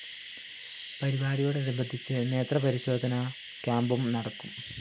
പരിപാടിയോടനുബന്ധിച്ച് നേത്രപരിശോധനാ ക്യാമ്പും നടക്കും